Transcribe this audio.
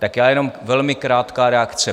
Tak já jenom velmi krátká reakce.